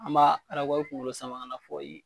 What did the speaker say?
An b'a arakɔri kungolo saman kana fɔ